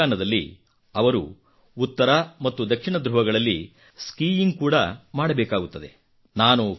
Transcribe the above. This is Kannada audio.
ಈ ಅಭಿಯಾನದಲ್ಲಿ ಅವರು ಉತ್ತರ ಮತ್ತು ದಕ್ಷಿಣ ಧೃವಗಳಲ್ಲಿ ಸ್ಕೀಯಿಂಗ್ ಕೂಡಾ ಮಾಡಬೇಕಾಗುತ್ತದೆ